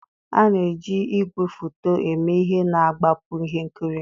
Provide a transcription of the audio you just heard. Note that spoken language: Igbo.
A na-eji igwefoto eme ihe na-agbapụ ihe nkiri